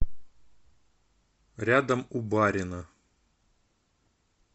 рядом у барина